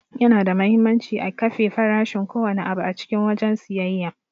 Yana da muhimmanci a kafe farashin ko wanne abu a cikin wajen siyayya.